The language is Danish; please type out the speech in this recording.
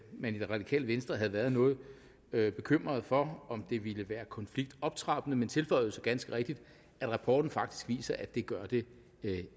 man i det radikale venstre havde været noget bekymrede for om det ville virke konfliktoptrappende men tilføjede så ganske rigtigt at rapporten faktisk viser at det gør det